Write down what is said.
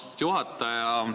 Austatud juhataja!